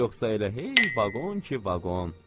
Yoxsa elə hey vaqon ki, vaqon.